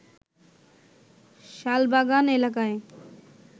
শালবাগান এলাকায়